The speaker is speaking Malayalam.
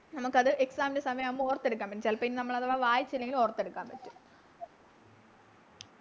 നമുക്കത് Exam ൻറെ സമയാവുമ്പോ ഓർത്തെടുക്കാൻ പറ്റും ചെലപ്പോ ഇനി നമ്മള് അഥവാ വായിച്ചില്ലെങ്കിൽ ഓർത്തെടുക്കാൻ പറ്റും